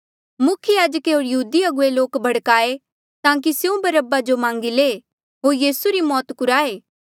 मुख्य याजके होर यहूदी मुखिये लोक भड़काए ताकि स्यों बरअब्बा जो मांगी ले होर यीसू री मौत कुराये